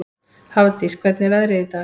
Hafdís, hvernig er veðrið í dag?